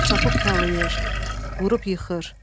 Çapıb talayır, vurub yıxır.